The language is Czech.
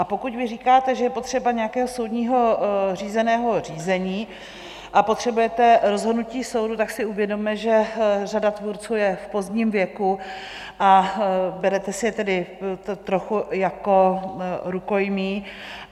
A pokud vy říkáte, že je potřeba nějakého soudního řízeného řízení a potřebujete rozhodnutí soudu, tak si uvědomme, že řada tvůrců je v pozdním věku, a berete si je tedy trochu jako rukojmí.